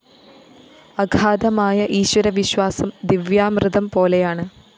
അഗാധമായ ഈശ്വരവിശ്വാസം ദിവ്യാമൃതം പോലെയാണ്